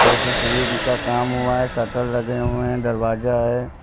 येसे शरीन का काम हुआ है शटर लगे हुए हैं दरवाजा है।